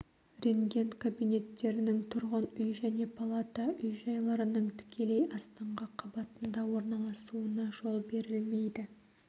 рентген кабинеттерінің тұрғын үй және палата үй-жайларының тікелей астыңғы қабатында орналасуына жол берілмейді